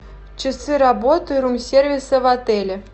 часы работы рум сервиса в отеле